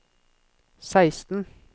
seksten